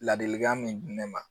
Ladilikan min di ne ma